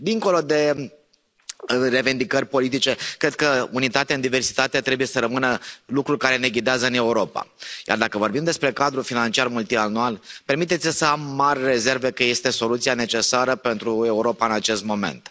Dincolo de revendicări politice, cred că unitatea în diversitate trebuie să rămână lucru care ne ghidează în Europa, iar dacă vorbim despre cadrul financiar multianual, permiteți mi să am mari rezerve că este soluția necesară pentru Europa în acest moment.